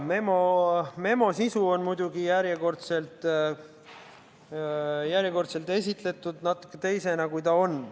Memo sisu on muidugi järjekordselt esitletud natuke teisena, kui ta on.